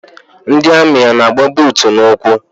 Ndị amị ana-agba buutu n'ụkwụ?